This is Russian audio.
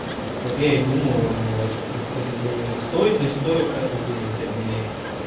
вот я и думаю вот и сказ стоит не стоит как вы думаете обменять